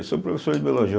Eu sou professor de biologia.